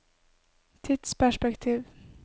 tidsperspektiv